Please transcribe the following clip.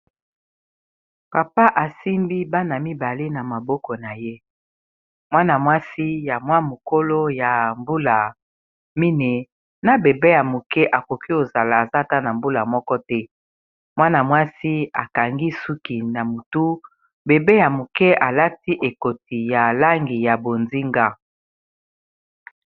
Papa asimbi bana mibale na maboko na ye mwana mwasi ya mwa mokolo ya mbula mine na bebe ya moke akoki ozala azata na mbula moko te mwana mwasi akangi suki na motu bebe ya moke alati ekoti ya langi ya bonzinga.